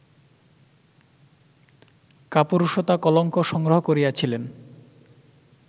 কাপুরুষতা-কলঙ্ক সংগ্রহ করিয়াছিলেন